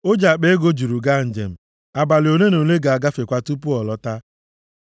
O ji akpa ego juru gaa njem, abalị ole na ole ga-agafekwa tupu ọ lọta.”